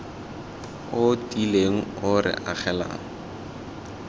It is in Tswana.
o tiileng o re agelelang